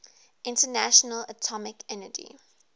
international atomic energy